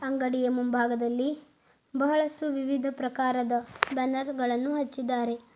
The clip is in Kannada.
ಅಂಗಡಿಯ ಮುಂಭಾಗದಲ್ಲಿ ಬಹಳಷ್ಟು ವಿವಿಧ ಪ್ರಕಾರದ ಬ್ಯಾನರ್ ಗಳನ್ನು ಹಚ್ಚಿದ್ದಾರೆ.